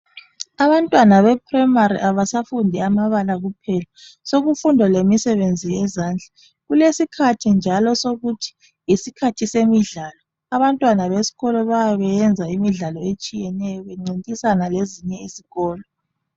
Abantwana beprayimari abasafundi amabala kuphela. Sokufundwa lemisebenzi yezandla. Kulesikhathi njalo sokuthi yisikhathi semidlalo. Abantwana besikolo bayabe beyenza imidlalo etshiyeneyo bencintisana lezinye izikolo.